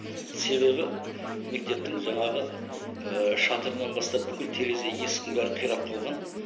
себебі мектептің жаңағы шатырынан бастап бүкіл терезе есіктің бәрі қирап қалған